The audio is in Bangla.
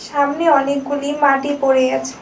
সামনে অনেকগুলি মাটি পড়ে আছে।